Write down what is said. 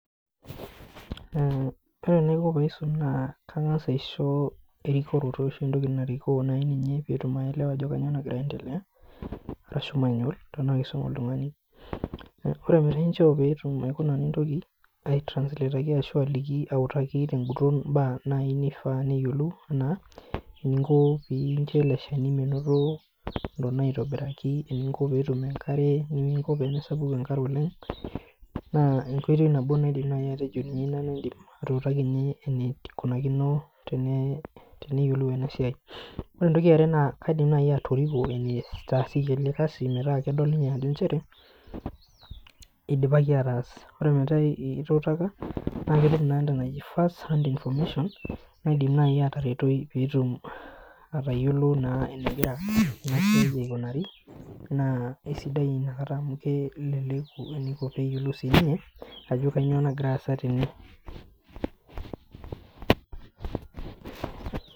Ore enaiko paaisum naa kaing'as aisho erikoroto ashu entoki narikoo nai ninye peetum aelewa ajo kanyoo nagira aendelea ashu manual tenaa kisome oltung'ani. Ore peeku inchoo nintoki aitransletoki aliki tenguton imbaak naa naai nifaa neyiolou naa eningo piincho ele shani menoto ntona aitobiraki, eningo peetum enkare, eningo peemesapuku enkare oleng' naa enkoitoi nabo naaidim naai atejo indim atuutakinye eneikunakino teneyiolou ena siai. Ore entoki e are naa kaidm naai atoriko enetaasieki ele kazi metaa kedol ninye ajo nchere idipaki ataas, ore metaa ituutaka naa ketum naa entoki naji first hand information naidim naai ataretoi peetum atayiolo naa enegira ena siai aikunari naa aisidai amu keleleku eneiko peeyiolou siininye ajo kainyoo nagira aasa tene